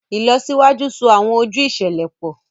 Ìlọsíwájú so awọn ojú iṣẹlẹ pọ